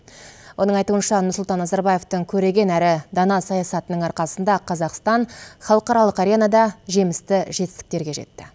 оның айтуынша нұрсұлтан назарбаевтың көреген әрі дана саясатының арқасында қазақстан халықаралық аренада жемісті жетістіктерге жетті